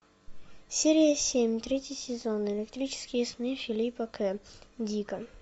серия семь третий сезон электрические сны филипа к дика